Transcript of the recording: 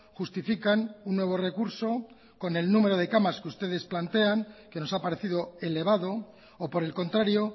justifican un nuevo recurso con el número de camas que ustedes plantean que nos ha parecido elevado o por el contrario